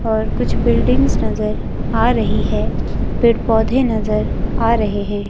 और कुछ बिल्डिंगस नजर आ रही हैं पेड़ पौधे नजर आ रहे हैं।